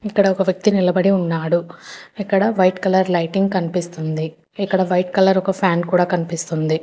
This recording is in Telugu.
ఇక్కడ ఒక వ్యక్తి నిలబడి ఉన్నాడు ఇక్కడ వైట్ కలర్ లైటింగ్ కనిపిస్తుంది ఇక్కడ వైట్ కలర్ ఒక ఫ్యాన్ కూడా కనిపిస్తుంది.